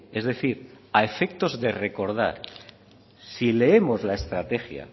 es decir a efectos de recordar si leemos la estrategia